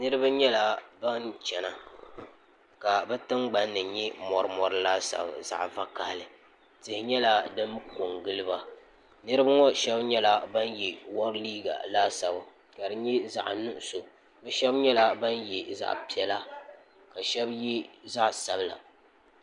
niraba nyɛla ban chɛna ka bi tingbanni nyɛ mori mori laasabu zaɣ vakaɣali tihi nyɛla din ko n giliba niraba shab nyɛla ban yɛ wɔri liiga laasabu ka di nyɛ zaɣ nuɣso bi shab nyɛla ban yɛ zaɣ piɛla ka shab yɛ zaɣ sabila